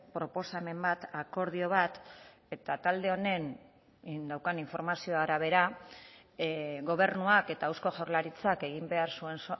proposamen bat akordio bat eta talde honen daukan informazio arabera gobernuak eta eusko jaurlaritzak egin behar zuen